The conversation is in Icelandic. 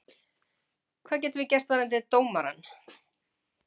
Hvað getum við gert varðandi dómarann?